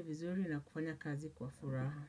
vizuri na kufanya kazi kwa furaha.